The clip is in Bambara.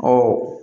Ɔ